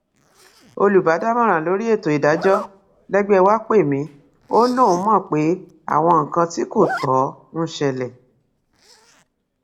olùbádámọràn lórí ètò ìdájọ lẹgbẹ wàá pè mí ó lóun mọ pé àwọn nǹkan tí kò tó ń ṣẹlẹ